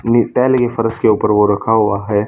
फर्श के ऊपर वो रखा हुआ है।